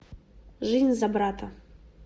жизнь за брата